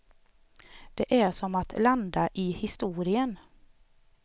Det är som att landa i historien.